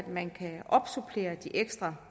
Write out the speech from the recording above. man kan opsupplere de ekstra